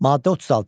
Maddə 36.